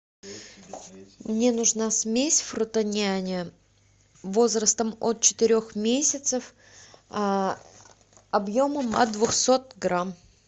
мне нужна смесь фрутоняня возрастом от четырех месяцев объемом от двухсот грамм